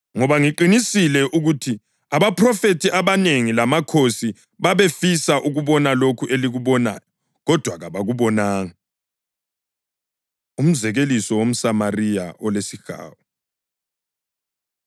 Ngoba ngiqinisile ukuthi abaphrofethi abanengi lamakhosi babefisa ukubona lokhu elikubonayo, kodwa kabakubonanga, lokuzwa lokhu elikuzwayo, kodwa kabakuzwanga.” Umzekeliso WomSamariya Olesihawu